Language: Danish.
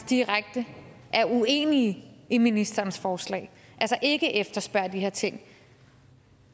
direkte uenige i ministerens forslag altså ikke efterspørger de her ting